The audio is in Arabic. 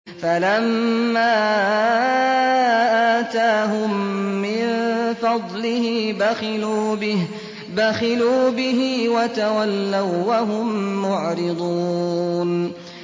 فَلَمَّا آتَاهُم مِّن فَضْلِهِ بَخِلُوا بِهِ وَتَوَلَّوا وَّهُم مُّعْرِضُونَ